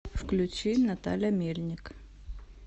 включи наталя мельник